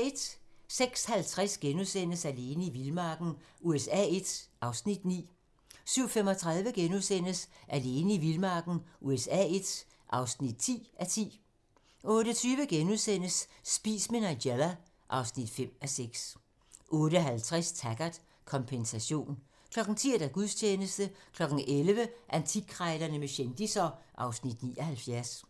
06:50: Alene i vildmarken USA I (9:10)* 07:35: Alene i vildmarken USA I (10:10)* 08:20: Spis med Nigella (5:6)* 08:50: Taggart: Kompensation 10:00: Gudstjeneste 11:00: Antikkrejlerne med kendisser (Afs. 79)